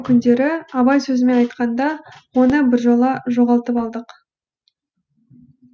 бүгінгі күндері абай сөзімен айқанда оны біржола жоғалтып алдық